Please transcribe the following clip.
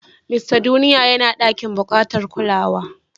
Mista Duniya yana a ɗakin bukatar kulawa.